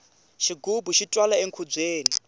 xigubu xi twala enkhubyeni